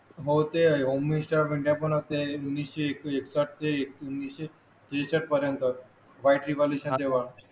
हो ते home minister India पण असते एकोणीशे एकाहत्तर ते एकोणविशे त्रेसष्ट पर्यंत बॅटरी पॉल्युशन तेव्हा